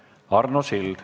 Arno Sild.